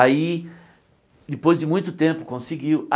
Aí, depois de muito tempo, conseguiu.